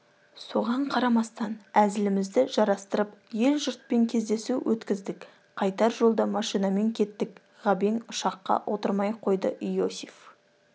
соған қарамастан әзілімізді жарастырып ел-жұртпен кездесу өткіздік қайтар жолда машинамен кеттік ғабең ұшаққа отырмай қойды иосиф